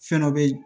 Fɛn dɔ be